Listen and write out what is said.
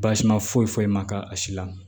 Basima foyi foyi ma k'a a si la